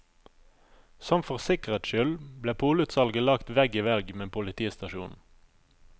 Sånn for sikkerhets skyld ble polutsalget lagt vegg i vegg med politistasjonen.